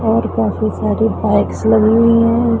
और काफी सारी बाइक्स लगी हुई है।